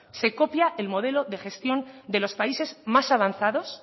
se copia el modelo de gestión de los países más avanzados